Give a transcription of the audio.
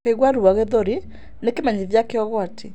Kũigua ruo gĩthũri-inĩ nĩ kĩmenyithia kĩa ũgwati.